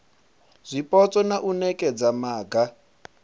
zwipotso na u nekedza maga